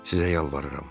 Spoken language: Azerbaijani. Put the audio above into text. Sizə yalvarıram.